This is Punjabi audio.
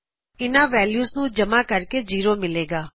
ਇੱਨ੍ਹਾ ਵੈਲਯੂਜ਼ ਨੂੰ ਜਮਾਂ ਕਰਨ ਤੇ 0 ਮਿਲੇਗਾ